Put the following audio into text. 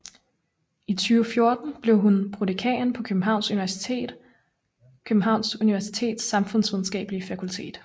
I 2014 blev hun prodekan på Københavns Universitets Samfundsvidenskabelige Fakultet